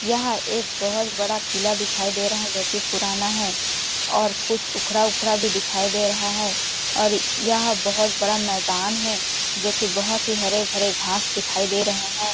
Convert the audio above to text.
यह एक बहोत बड़ा किला दिखाई दे रहा जो की पुराना है और कुछ उखड़ा-उखड़ा भी दिखाई दे रहा है और यह बहोत बड़ा मैदान है जोकी बहुत ही हरे-भरे घास दिखाई दे रहे है।